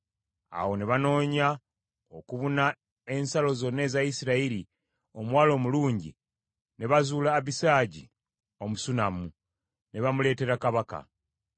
Awo ne banoonya okubuna ensalo zonna eza Isirayiri omuwala omulungi, ne bazuula Abisaagi Omusunammu, ne bamuleetera kabaka.